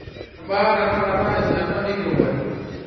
kebaa tenakata esiana enkirowuaj